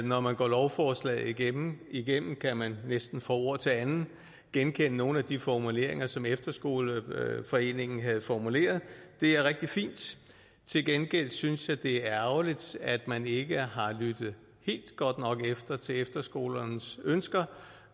når man går lovforslaget igennem igennem kan man næsten fra ord til andet genkende nogle af de formuleringer som efterskoleforeningen havde formuleret det er rigtig fint til gengæld synes jeg det er ærgerligt at man ikke har lyttet helt godt nok efter til efterskolernes ønsker